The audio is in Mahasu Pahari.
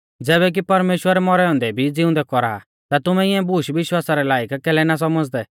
ज़ैबै कि परमेश्‍वर मौरै औन्दै भी ज़िउंदै कौरा आ ता तुमै इऐं बूश विश्वासा रै लायक कैलै ना सौमझ़दै